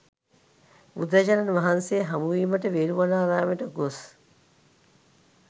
බුදුරජාණන් වහන්සේ හමුවීමට වේළුවනාරාමයට ගොස්